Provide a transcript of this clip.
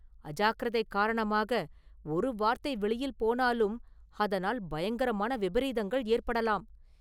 அஜாக்கிரதை காரணமாக ஒரு வார்த்தை வெளியில் போனாலும் அதனால் பயங்கரமான விபரீதங்கள் ஏற்படலாம்.